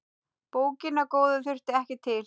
Bókina góðu þurfti ekki til.